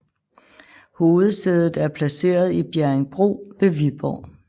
Hovedsædet er placeret i Bjerringbro ved Viborg